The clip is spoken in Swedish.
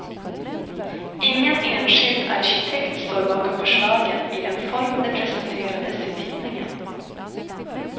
Ingen enskild arkitekt står bakom förslagen i den form de presenterades i tidningen.